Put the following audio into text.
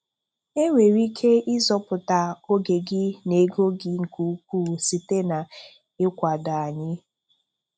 E nwere ike ịzọpụta oge gị na ego gị nke ukwuu site n'ịkwado anyị!